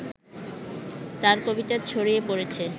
তাঁর কবিতা ছড়িয়ে পড়েছে